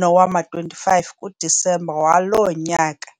nowama-25 kuDisemba waloo nyaka.